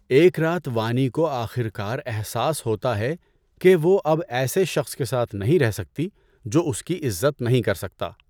ایک رات وانی کو آخر کار احساس ہوتا ہے کہ وہ اب ایسے شخص کے ساتھ نہیں رہ سکتی جو اس کی عزت نہیں کر سکتا۔